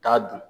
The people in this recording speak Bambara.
Taa dun